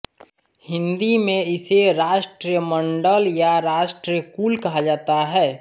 हिन्दी में इसे राष्ट्रमण्डल या राष्ट्रकुल कहा जाता है